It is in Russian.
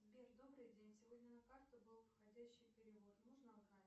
сбер добрый день сегодня на карту был входящий перевод можно узнать